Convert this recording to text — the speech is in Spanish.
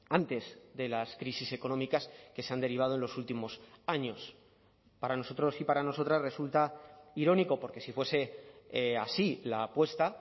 antes de las crisis económicas que se han derivado en los últimos años para nosotros y para nosotras resulta irónico porque si fuese así la apuesta